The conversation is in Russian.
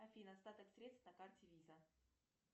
афина остаток средств на карте виза